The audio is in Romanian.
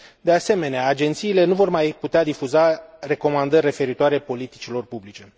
De asemenea, agențiile nu vor mai putea difuza recomandări referitoare la politicile publice.